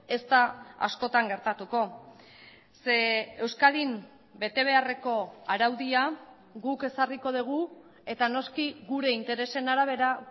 ez da askotan gertatuko ze euskadin betebeharreko araudia guk ezarriko dugu eta noski gure interesen arabera